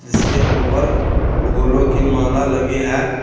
जिसके ऊपर फूलों की माला लगी है।